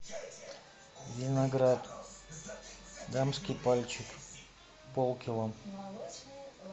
виноград дамский пальчик пол кило